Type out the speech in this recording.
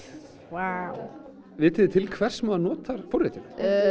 vá vitið þið til hvers maður notar forritun